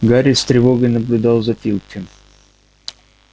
гарри с тревогой наблюдал за филчем